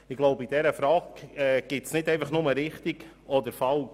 Ich glaube, in dieser Frage gibt es nicht einfach nur richtig oder falsch.